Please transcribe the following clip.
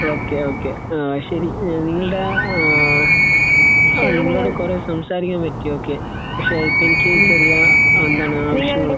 Okay. Okay. ആഹ് ശരി. നിങ്ങളുടെ ആഹ് നിങ്ങളോട് കുറേ സംസാരിക്കാൻ പറ്റി. ഓക്കേ. പക്ഷെ ഇപ്പോൾ എനിക്ക് ചെറിയ എന്താണ്